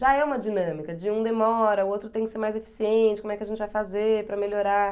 Já é uma dinâmica, de um demora, o outro tem que ser mais eficiente, como é que a gente vai fazer para melhorar...